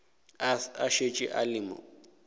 a šetše a le mo